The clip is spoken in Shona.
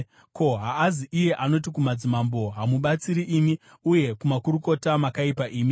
Ko, haazi iye anoti kumadzimambo, ‘Hamubatsiri imi,’ uye kumakurukota, ‘Makaipa imi,’